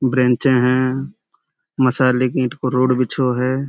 ब्रेंचे हैं। मसाले की ईंट को रोड बिछो है।